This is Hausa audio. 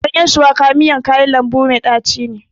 Ganyen shuwaka miyan kayan lambu mai tachi ne.